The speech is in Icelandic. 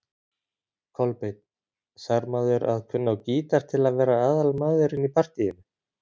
Kolbeinn: Þarf maður að kunna á gítar til að vera aðalmaðurinn í partýinu?